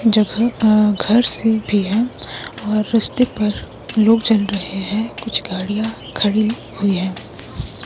जो घर से भी है और रस्ते पर लोग चल रहे है कुछ गाड़ियां खड़ी हुई है।